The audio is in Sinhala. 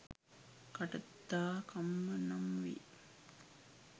කටත්ථා කම්ම නම් වෙයි